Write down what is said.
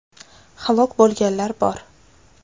Halok bo‘lganlar bor .